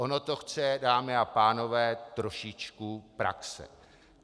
Ono to chce, dámy a pánové, trošičku praxe.